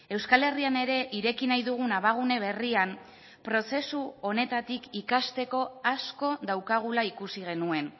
euskal herrian ere ireki nahi dugun abagune berrian prozesu honetatik ikasteko asko daukagula ikusi genuen